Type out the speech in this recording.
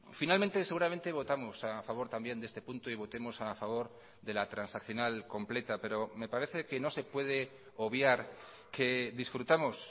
finalmente seguramente votamos a favor también de este punto y votemos a favor de la transaccional completa pero me parece que no se puede obviar que disfrutamos